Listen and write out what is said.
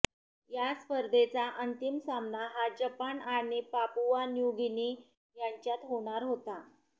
या स्पर्धेचा अंतिम सामना हा जपान आणि पापुआ न्यू गिनी यांच्यात होणार होता